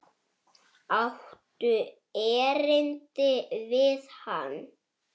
Áttu erindi við hann?